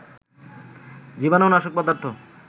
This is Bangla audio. জীবানু নাশক পদার্থ